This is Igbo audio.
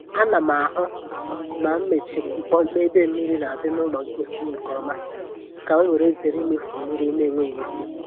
Ana m ahụ na mechiri mpukpọ ébé mmiri na adi n’ụlọ mposi nke ọma ka m were zere imefu mmiri n'enweghị ịsị